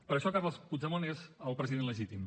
per això carles puigdemont és el president legítim